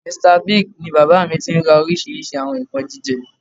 Mr Big ni bàbá mi tí ń ra oríṣìíríṣìí àwọn nǹkan jíjẹ